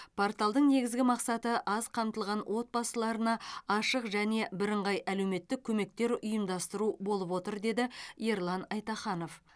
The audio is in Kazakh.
порталдың негізгі мақсаты аз қамтылған отбасыларға ашық және біріңғай әлеуметтік көмектер ұйымдастыру болдып отыр деді ерлан айтаханов